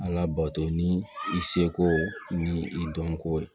Ala bato ni i seko ni i dɔnko ye